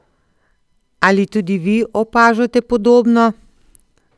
Ali tudi vi opažate podobno?